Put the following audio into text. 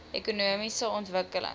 ekonomiese ontwikkeling